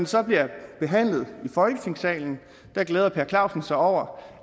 så bliver behandlet i folketingssalen glæder per clausen sig over